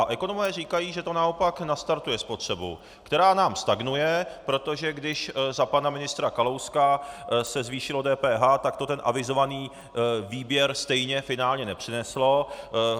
A ekonomové říkají, že to naopak nastartuje spotřebu, která nám stagnuje, protože když za pana ministra Kalouska se zvýšilo DPH, tak to ten avizovaný výběr stejně finálně nepřineslo.